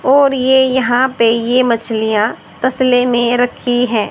और ये यहां पे ये मछलियां तस्ले में रखी हैं।